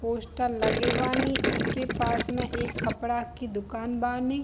Poster लगे बानी इ के पास में एक कपड़ा की दुकान बानी।